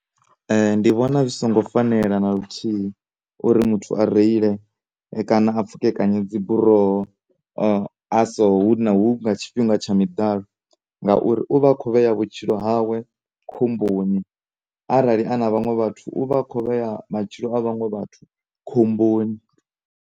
Ndi vhona zwi songo fanela na luthihi uri muthu a reile kana a pfhukekanye dziburoho a so huna, hu nga tshifhinga tsha miḓalo na uri u vha a kho vhe vhutshilo hawe khomboni arali a na vhanwe vhathu u vha a kho vhea matshilo a vhaṅwe vhathu khomboni.